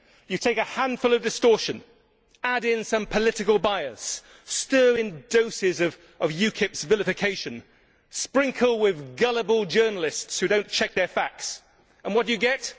You take a handful of distortion, add in some political bias, stir in doses of UKIP's vilification, sprinkle with gullible journalists who do not check their facts and what do you get?